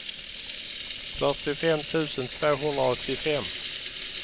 fyrtiofem tusen tvåhundraåttiofem